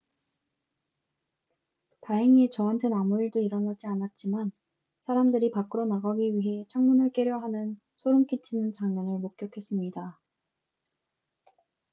"""다행히 저한텐 아무 일도 일어나지 않았지만 사람들이 밖으로 나가기 위해 창문을 깨려 하는 소름 끼치는 장면을 목격했습니다.